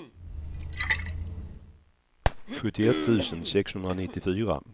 sjuttioett tusen sexhundranittiofyra